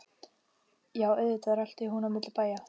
Já, auðvitað rölti hún á milli bæja.